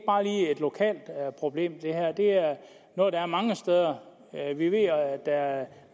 lokalt problem det er noget der er mange steder vi ved at der er